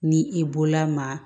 Ni i bolola maa